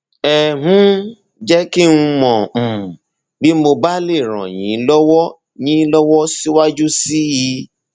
ẹ um jẹ kí n mọ um bí mo bá lè ràn yín lọwọ yín lọwọ síwájú sí i